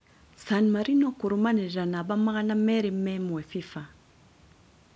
San Marino kurumanĩrĩra namba magana merĩ me imwe Fifa